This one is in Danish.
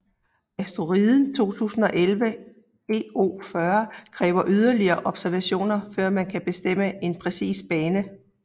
Asteroiden 2011 EO40 kræver yderligere observationer før man kan bestemme en præcis bane